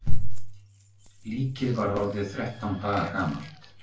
THEODÓRA: Líkið var orðið þrettán daga gamalt.